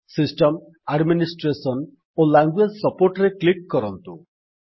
system administration ଓ language support ରେ click କରନ୍ତୁ